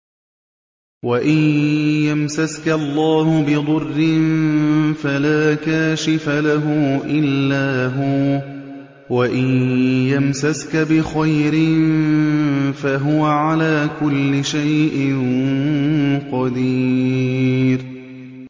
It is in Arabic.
وَإِن يَمْسَسْكَ اللَّهُ بِضُرٍّ فَلَا كَاشِفَ لَهُ إِلَّا هُوَ ۖ وَإِن يَمْسَسْكَ بِخَيْرٍ فَهُوَ عَلَىٰ كُلِّ شَيْءٍ قَدِيرٌ